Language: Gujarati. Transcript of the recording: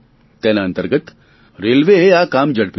તેના અંતર્ગત રેલવેએ આ કામ ઝડપ્યું છે